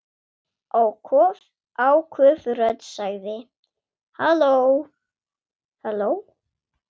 Áköf rödd sagði: Halló?